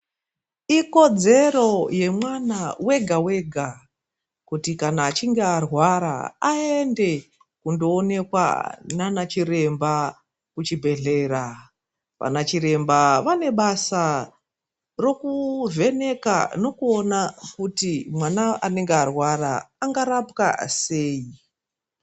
Ikodzero yemwana wega wega kuti kana achinge arwara aende kundoonekwa naana chiremba kuchibhedhlera, vana chiremba vane basa rokuvheneka nokuona kuti mwana anenge arwara angarapwa sei.